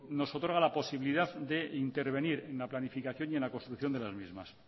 nos otorga la posibilidad de intervenir en la planificación y en la construcción de las mismas